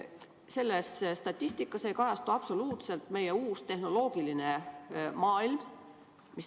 Selles statistikas ei kajastu absoluutselt meie uus tehnoloogiline maailm.